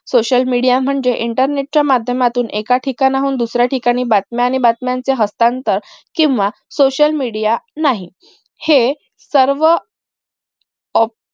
social media म्हणजे internet च्या माध्यमातून एका ठिकाणाहून दुसऱ्या ठिकाणी बातम्या आणि बातम्यांचे हस्तांतर केंव्हा social media नाही हे सर्व ओ